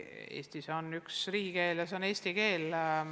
Eestis on üks riigikeel ja see on eesti keel.